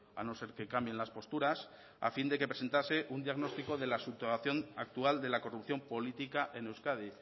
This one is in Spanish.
a no ser que cambien las posturas a fin de que presentase un diagnóstico de la subrogación actual de la corrupción política en euskadi